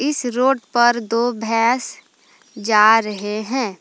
इस रोड पर दो भैंस जा रहे हैं।